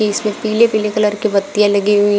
इस में पीले पीले कलर की बत्तियां लगी हुई --